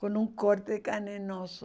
com um corte de carne no osso.